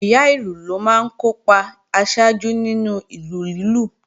Ìyá ìlù ló máa ń kó ipa aṣáájú nínú ìlù lílù